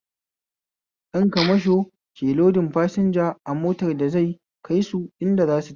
Dan kamasho ke lodin fasinja a motar da zai kaisu inda zasu tafi